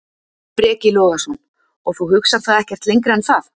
Breki Logason: Og þú hugsar það ekkert lengra en það?